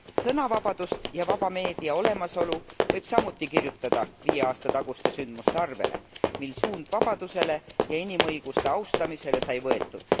Sõnavabaduse ja vaba meedia olemasolu võib samuti kirjutada viie aasta taguste sündmuste arvele, mil suund vabadusele ja inimõiguste austamisele sai võetud.